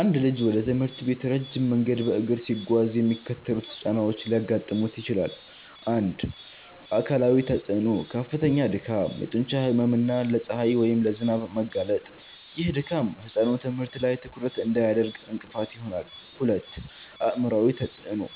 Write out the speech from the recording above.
አንድ ልጅ ወደ ትምህርት ቤት ረጅም መንገድ በእግር ሲጓዝ የሚከተሉት ጫናዎች ሊያጋጥሙት ይችላል፦ 1. አካላዊ ተፅዕኖ፦ ከፍተኛ ድካም፣ የጡንቻ ህመም እና ለፀሐይ ወይም ለዝናብ መጋለጥ። ይህ ድካም ህጻኑ ትምህርት ላይ ትኩረት እንዳያደርግ እንቅፋት ይሆናል። 2. አእምሯዊ ተፅዕኖ፦